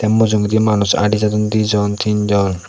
mujungedi manus adi jadon dijon teen jon.